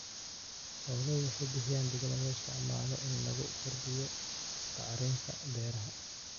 Xooluhu waxay bixiyaan digada loo isticmaalo in lagu kordhiyo bacrinta beeraha.